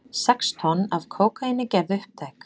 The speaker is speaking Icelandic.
Sex tonn af kókaíni gerð upptæk